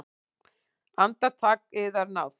Andartak, yðar náð!